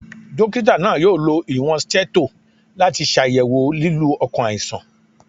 Dọkita naa yoo lo iwọn stetho lati ṣayẹwo lilu ọkan alaisan.